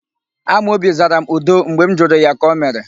Amobi zara m, 'udo' mgbe m jụrụ ya ka o mere.